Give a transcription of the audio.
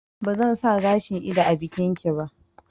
Ba zan sa gashin ido a bikin ki ba